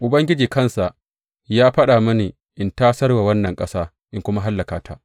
Ubangiji kansa ya faɗa mini in tasar wa wannan ƙasa in kuma hallaka ta.’